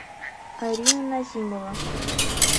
арина назимова